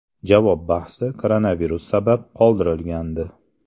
Javob bahsi koronavirus sabab qoldirilgandi.